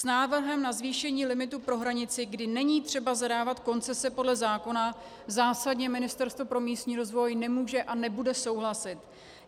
S návrhem na zvýšení limitu pro hranici, kdy není třeba zadávat koncese podle zákona, zásadně Ministerstvo pro místní rozvoj nemůže a nebude souhlasit.